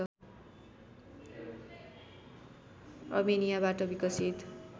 अर्मेनियाबाट विकसित